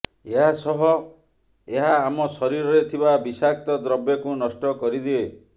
ଏହା ସହ ଏହା ଆମ ଶରୀରରେ ଥିବା ବିଷାକ୍ତ ଦ୍ରବ୍ୟକୁ ନଷ୍ଟ କରିଦିଏ